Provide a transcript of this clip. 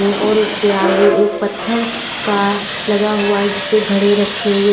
और उसके आगे एक पत्थर का लगा हुआ है जिस पे घड़े रखें हुए--